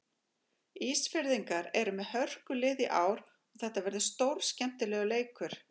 Ísfirðingar eru með hörkulið í ár og þetta verður stórskemmtilegur leikur.